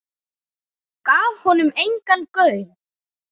Gaf honum engan gaum.